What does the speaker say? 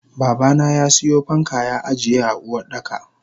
Babana yasiyo fanka ya ajiye a Uwardaka.